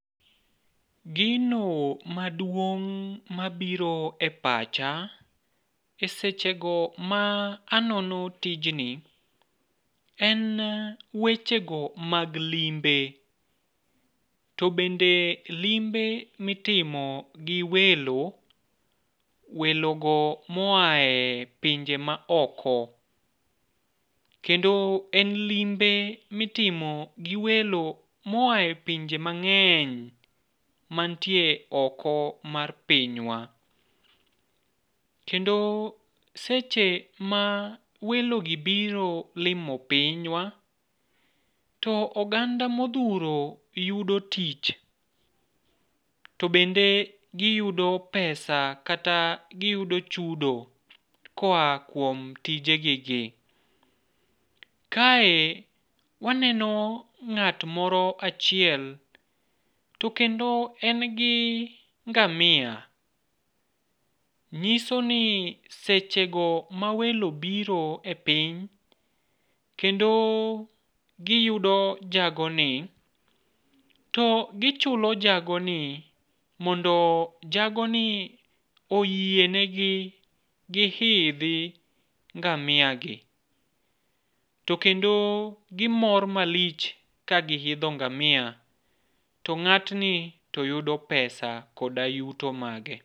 Gino maduong' mabiro e pacha e sechego ma anono tijni, en wechego mag limbe. To bende limbe mitimo gi welo, welo go moae pinje maoko. Kendo en limbe mitimo gi welo moaye pinje mang'eny mantie oko mar pinywa. Kendo seche ma welogi biro limo pinywa, to oganda modhuro yudo tich. To bende giyudo pesa, kata giyudo chudo koa kuom tijegi gi. Kae waneno ng'at moro achiel, to kendo en gi ngamia. Nyiso ni sechego ma welo biro e piny, kendo giyudo jagoni, to gichulo jagoni mondo jagoni oyienegi gihidhi ngamia gi. To kendo gimor malich kagihidho ngamia, to ng'atni toyudo pesa koda yuto mage.